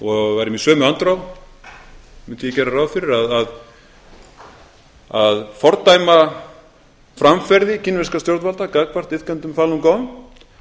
og værum í sömu andrá mundi ég gera ráð fyrir að fordæma framferði kínverskra stjórnvalda gagnvart iðkendum falun gong